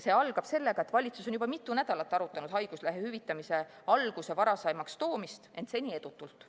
See algab sõnadega, et valitsus on juba mitu nädalat arutanud haiguslehe hüvitamise alguse varasemaks toomist, ent seni edutult.